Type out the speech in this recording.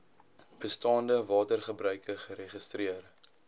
bestaande watergebruike geregistreer